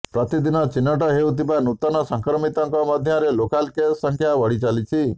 ପ୍ରତିଦିନ ଚିହ୍ନଟ ହେଉଥିବା ନୂତନ ସଂକ୍ରମିତଙ୍କ ମଧ୍ୟରେ ଲୋକାଲ୍ କେସ୍ ସଂଖ୍ୟା ବଢି ଚାଲିଛି